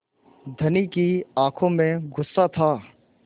धनी की आँखों में गुस्सा था